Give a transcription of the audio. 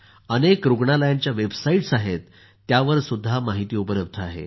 अनेक रूग्णालयांच्या वेबसाईट आहेत ज्यावरही माहिती उपलब्ध आहे